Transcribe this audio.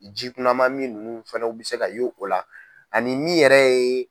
Jikunamamin ninnu fanaw bi se ka y'o la ani mi yɛrɛ ye.